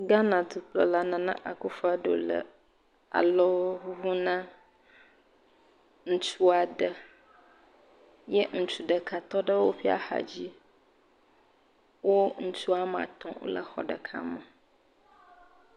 Ghana dukplɔla Nana Akuffo Addo le alɔ ŋuŋum na ŋutsu aɖe eye ŋutsu ɖeka tɔ ɖe woƒe axadzi. Wo ŋutsu ame atɔ wole xɔ ɖeka me.